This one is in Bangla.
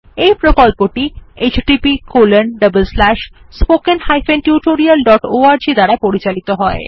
এই প্রকল্পটি httpspoken tutorialorg দ্বারা পরিচালিত হয়